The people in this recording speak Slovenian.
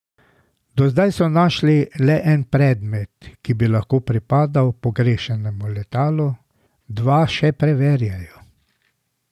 Do zdaj so našli le en predmet, ki bi lahko pripadal pogrešanemu letalu, dva še preverjajo.